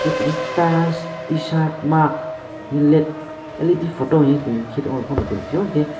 hwnkhe tini tiles tshirt mug led photo hinye tung chung nukphio enke.